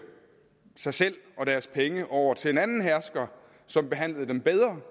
sig selv og deres penge over til en anden hersker som behandlede dem bedre